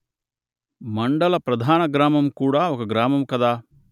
మండల ప్రధాన గ్రామం కూడా ఒక గ్రామము కదా